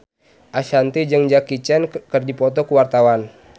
Ashanti jeung Jackie Chan keur dipoto ku wartawan